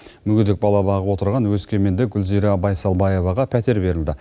мүгедек бала бағып отырған өскемендік гүлзира байсалбаеваға пәтер берілді